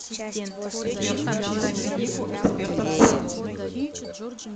сбер включи землянику экспертов в саду